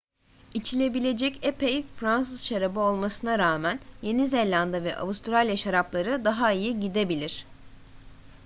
i̇çilebilecek epey fransız şarabı olmasına rağmen yeni zelanda ve avustralya şarapları daha iyi gidebilir